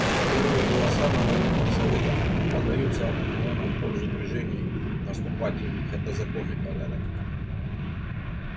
первые голоса на военных советах подаются обыкновенно в пользу движений наступательных это законный порядок